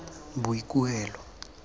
boikuelo